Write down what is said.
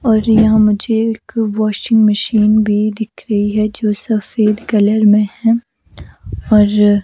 और यहां मुझे एक वाशिंग मशीन भी दिख रही है जो सफेद कलर में है और --